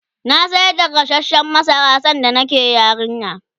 na sayar da gasashen masara sanda nake yarinya